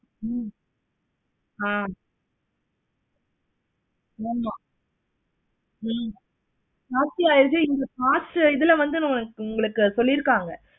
ஹம் ஆஹ் ஆமா நீ நாஸ்தியா இருக்கு. இங்க உங்களுக்கு சொல்லிருக்காங்க.